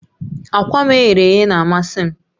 Akwa m e ghere eghe na-amasị m